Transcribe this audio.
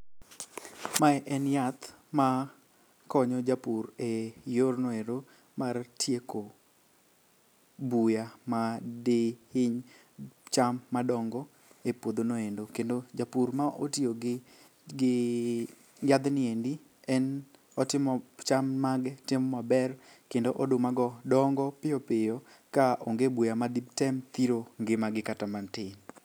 Mae en yath makonyo japur e yorno ero mar tieko buya madihiny cham madongo e puodhono endo, kendo japur ma otiyo gi yadhni endi en cham mage timo maber kendo odumago dongo piyopiyo ka onge buya maditem thiro ngimagi kata matin.